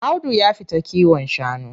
Audu ya fita kiwon shanu.